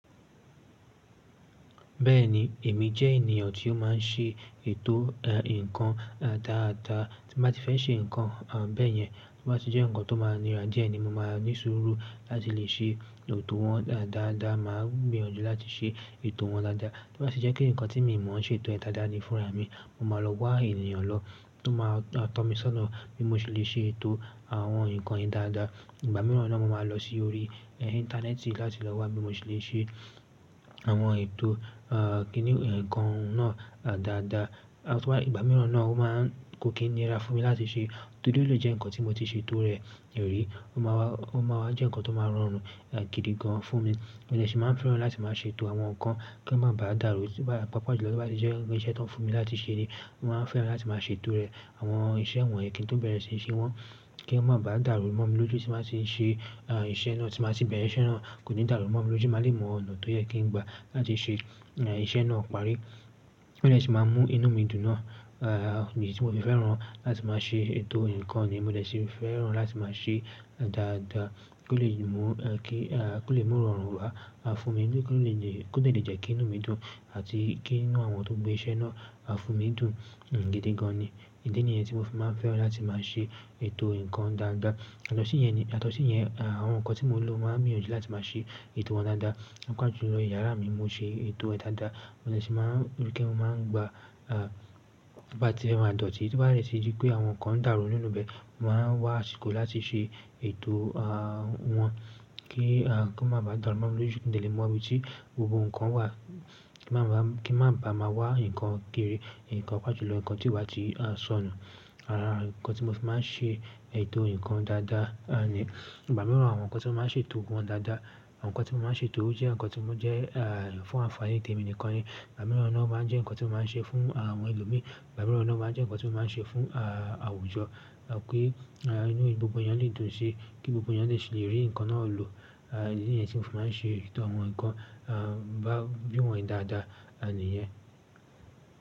Bẹ́ẹ̀ni, èmi jẹ́ ènìyàn tí ó máa ń ṣe ètò, ǹkan dáadáa. Tí mo bá ti fẹ́ ṣe ǹkan bẹ́ẹ̀ yẹn, tí ó bá ti jẹ́ ǹkan tó máa ń nira díẹ̀ ni mo máa ní sùúrù láti lè ṣe ètò wọn dáadáa. Mà á gbìyànjú láti ṣe ètò wọn dáadáa. Tí ó bá ti jẹ́ pé ǹkan tí mo mọ̀ ń ṣe ètò ẹ dáadáa ni fúnra mi, mo máa lọ wá ènìyàn lọ tó máa tọ́ mi sọ́nà bí mo ṣe lè ṣe ètò àwọn ǹkan yìí dáadáa. Ìgbà mìíràn náà mo máa lọ sí orí, íńtánẹ́ẹ̀tì láti lọ wá bí mo ṣe lè ṣe àwọn ètò, kíni ǹkan náà dáadáa. Tí wàá-- ìgbà mìíràn náà ó máa ń kó kí nira fún mi láti ṣe. Tóri o ló jẹ́ ǹkan tí mo ti ṣe ètò rẹ̀ rí, ó máa wá, ó máa wá jẹ́ ǹkan tó máa rọrùn gidi gan fún mi. Mo dè ṣì máa ń fẹ́ràn láti máa ṣe ètò àwọn ǹkan kí wọ́n má ba à dàrú. Tí wàá-- pàápàá jùlọ tí ó bá ti jẹ́ irinṣẹ́ tó fún mi láti ṣe ni mo máa ń fẹ́ràn láti máa ṣe ètò rẹ̀. Àwọn iṣẹ́ wọ̀nyí kí n tó bẹ̀rẹ̀ síí ṣe wọ́n, kí wọ́n má ba à dàrú. Mo máa lójú tí màá ṣe iṣẹ́ náà, tí màá ti bẹ̀rẹ̀ iṣẹ́ náà, kò ní dàrú mo mi lójú máa lè mọ ọ̀nà tó yẹ kí n gbà láti ṣe iṣẹ́ náà parí. O dè ṣì máa ń mú inú mi dùn náà, idí tí mo fi fẹ́ràn láti máa ṣe ètò ǹkan ni mo dè ṣì fẹ́ràn láti máa ṣe dáadáa kí ó lè mú, kí, kí ó lè mú ó rọrùn wá fún mi. Kí ó lè lè-- kó lè dẹ̀lé jẹ́ kí inú mi dùn àti kí inú àwọn tó gbé iṣẹ́ náà fún mi dùn gidi gan ni. Ìdí nìyẹn tí mo fi máa ń fẹ́ràn láti máa ṣe ètò ǹkan dáadáa. Yàtọ̀sí yẹn ni, yàtọ̀sí yẹn, àwọn ǹkan tí mo lò máa ń gbìyànjú láti máa ṣe ètò wọn dáadáa. Pàápàá jùlọ yàrá mi, mo ṣe ètò ẹ dáadáa. Mo lè ṣì máa ń rí pé mo máa ń gba, tí wọ́n bá ti fẹ́ máa dọ̀tí, tí wọ́n bá dẹ̀tí dí pé àwọn ǹkan dàrú nínú bẹ̀, mo máa ń wá àsìkò láti ṣe ètò, wọn kí, kí wọ́n má ba à dàrú. Mo mi lójú kin de lè mọ ibi tí gbogbo ǹkan wà, kí má ba à, kí má ba à má wá ǹkan kiri, ǹkan pàápàá jùlọ ǹkan tí ó bá ti sọnù. Àrá ǹkan tí mo fi máa ń ṣe ètò ǹkan dáadáa, ah, ni. Ìgbà mìíràn àwọn ǹkan tí mo máa ń ṣe ètò wọn dáadáa, àwọn ǹkan tí mo máa ń ṣe ètò ó jẹ́ ǹkan tí ó jẹ́, fún àfààní tèmi nìkan ni. Ìgbà mìíràn náà ó máa ń jẹ́ ǹkan tí mo máa ń ṣe fún àwọn ẹlòmíràn. Ìgbà mìíràn náà ó máa ń jẹ́ ǹkan tí mo máa ń ṣe fún, àwùjọ, pé inú gbogbo èèyàn lè dùn si, kí gbogbo èèyàn lè ṣe lè rí ǹkan náà lò. Ìdí nìyẹn tí mo fi máa ń ṣe ètò àwọn ǹkan, bí wọn yín dáadá nìyẹn.